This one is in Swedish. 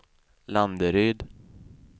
Landeryd